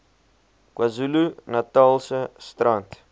kwazulu natalse strand